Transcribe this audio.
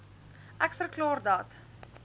ek verklaar dat